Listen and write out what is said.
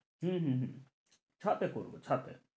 হম হম হম ছাদে করবো ছাদে,